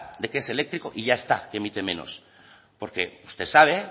de que es eléctrico y ya está emite menos porque usted sabe